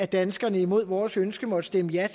danskerne imod vores ønske måtte stemme ja